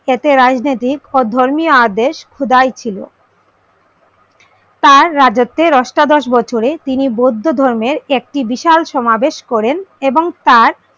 এতে রাজনৈতিক ও ধর্মীয় আদেশ খোদাই ছিল। তার রাজত্বের অষ্টাদশ বছরে তিনি বৌদ্ধ ধর্মের একটি বিশাল সমাবেশ করেন এবং তার,